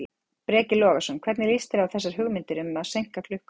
Breki Logason: Hvernig líst þér á þessar hugmyndir um að seinka klukkunni?